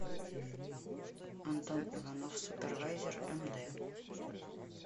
антон иванов супервайзер эм дэ